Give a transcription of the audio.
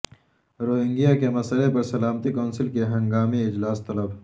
Rohingya کے مسئلے پر سلامتی کونسل کا ہنگامی اجلاس طلب